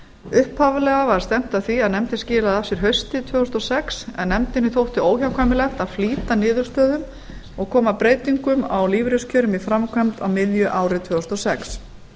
upphaflega var stefnt að því að nefndin skilaði af sér haustið tvö þúsund og sex en nefndinni þótti óhjákvæmilegt að flýta niðurstöðum og koma breytingum á lífeyriskjörum í framkvæmd á miðju ári tvö þúsund og sex